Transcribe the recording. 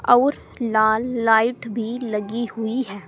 अऊर लाल लाइट भी लगी हुई है।